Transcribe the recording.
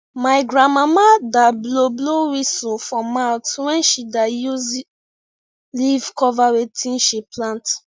my grandmama da blow blow whisu for mouth when she da use leave cover wetin she plant